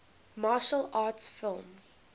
martial arts film